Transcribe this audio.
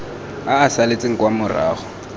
a a saletseng kwa morago